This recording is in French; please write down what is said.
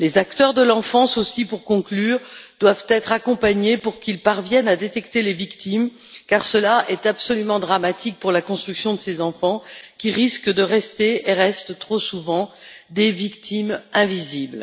Les acteurs de l'enfance aussi, pour conclure, doivent être accompagnés pour qu'ils parviennent à détecter les victimes, car cela est absolument dramatique pour la construction de ces enfants, qui risquent de rester et restent trop souvent des victimes invisibles.